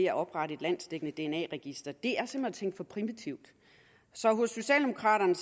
at oprette et landsdækkende dna register det er simpelt hen for primitivt hos socialdemokraterne